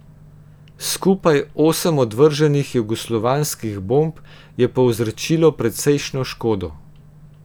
Skupaj osem odvrženih jugoslovanskih bomb je povzročilo precejšnjo škodo.